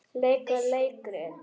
Leika leikrit